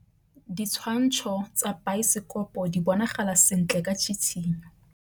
Ditshwantshô tsa biosekopo di bonagala sentle ka tshitshinyô.